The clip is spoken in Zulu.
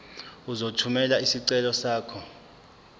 uzothumela isicelo sakho